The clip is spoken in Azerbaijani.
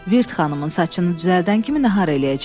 Virt xanımın saçını düzəldən kimi nahar eləyəcəyik.